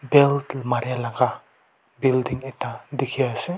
bell mari laga building ekta teki ase.